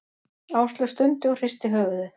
Áslaug stundi og hristi höfuðið.